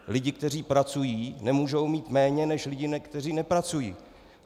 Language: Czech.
Lidi, kteří pracují, nemůžou mít méně než lidi, kteří nepracují.